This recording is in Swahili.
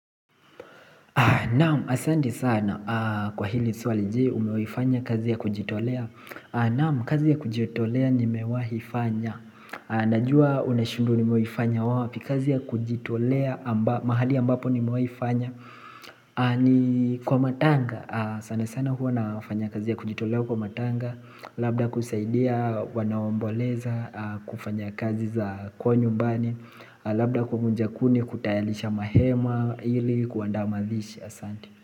Naam, asante sana. Kwa hili swali je, umewaifanya kazi ya kujitolea? Naam, kazi ya kujitolea nimewahi fanya. Najua unashindwo nimewahi fanya wapi. Kazi ya kujitolea, mahali ambapo nimewahi fanya. Ni kwa matanga. Sana sana hua nafanya kazi ya kujitolea kwa matanga. Labda kusaidia, wanao omboleza, kufanya kazi za kwao nyumbani. Labda kuvunja kuni, kutayalisha mahema, ili, kuanda madhishi. Asante.